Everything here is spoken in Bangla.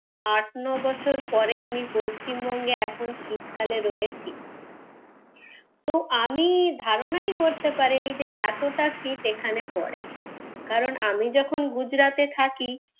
আট নয় বছর পরে আমি পশ্চিমবঙ্গে এখন শীতকালে রয়েছি। তো আমি ধারণাই করতে পারিনি যে এতটা শীত এখানে পরে। কারণ আমি যখন গুজরাতে থাকি,